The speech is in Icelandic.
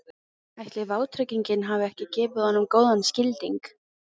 Ætli vátryggingin hafi ekki gefið honum góðan skilding?